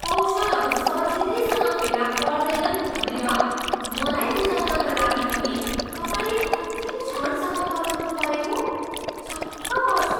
कौशलहरू सजिलैसँग फेला पर्दैनन् भनेर मलाई बुझाउनका लागि पनि तपाईँले अन्तिम क्षणसम्म पर्खनुपरेको? छक्क पर्छु।